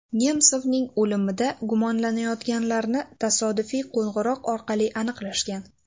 Nemsovning o‘limida gumonlanayotganlarni tasodifiy qo‘ng‘iroq orqali aniqlashgan.